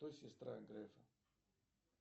кто сестра грэфа